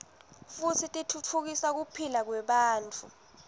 futsi titfutfukisa kuphila kwebantfu